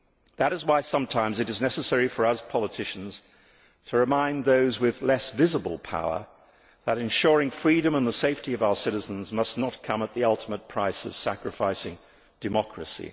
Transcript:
That is why sometimes it is necessary for us politicians to remind those with less visible power that ensuring freedom and the safety of our citizens must not come at the ultimate price of sacrificing democracy.